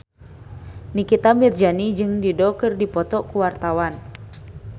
Nikita Mirzani jeung Dido keur dipoto ku wartawan